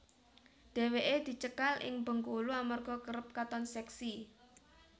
Dheweke dicekal ing Bengkulu amarga kerep katon seksi